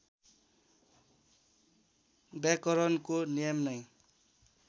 व्याकरणको नियम नै